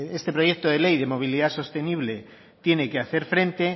este proyecto de ley de movilidad sostenible tiene que hacer frente